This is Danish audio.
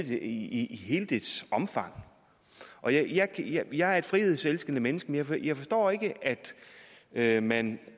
i hele dets omfang jeg er et frihedselskende menneske men jeg forstår ikke at man